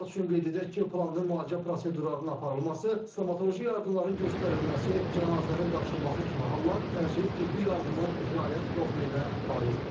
Məlumat üçün qeyd edək ki, planlı müalicə prosedurlarının aparılması, stomatoloji yardımların göstərilməsi, cənazənin daşınması kimi hallar təcili tibbin fəaliyyət profiliə aid deyil.